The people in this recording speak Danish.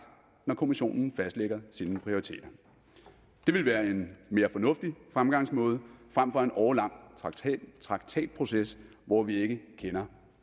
når kommissionen fastlægger sine prioriteter det ville være en mere fornuftig fremgangsmåde frem for en årelang traktatproces hvor vi ikke kender